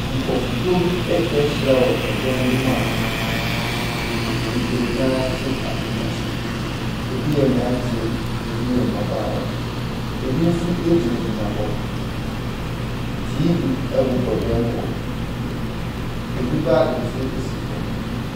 Nkurɔfokuo bi atwa ahyia wɔ ɛdan bi mu a bebree no ara te akonnwa so. Ɛbi yɛ mmeranteɛ, ɛbi yɛ mmabaawa. Ɛbi nso gyinagyina hɔ. TV bobɔ dan mu hɔ. Ɛbi baage nso si fam.